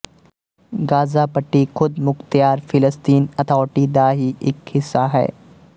Gaza ਪੱਟੀ ਖ਼ੁਦਮੁਖਤਿਆਰ ਫਿਲਸਤੀਨ ਅਥਾਰਟੀ ਦਾ ਹੀ ਇੱਕ ਹਿੱਸਾ ਹੈ